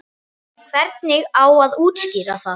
Hvernig á að útskýra það?